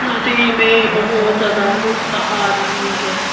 नदी में बहुत ज्यादा लोग नहा रही है।